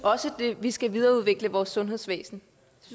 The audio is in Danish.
vi skal videreudvikle vores sundhedsvæsen